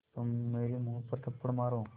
तो मेरे मुँह पर थप्पड़ मारो